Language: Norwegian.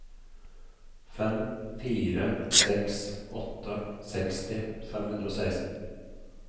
fem fire seks åtte seksti fem hundre og seksten